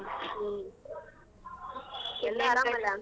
ಹ್ಮ್ .